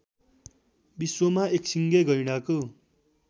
विश्वमा एकसिङे गैंडाको